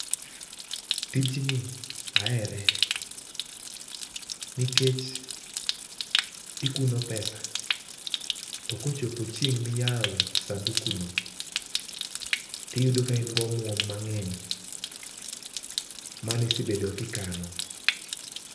Tijni ahere nikech ikuno [pesa], to kochopo chieng' miyawe [sanduku] no, tiyudo kain gomuom mang'eny, manisebedo kikano.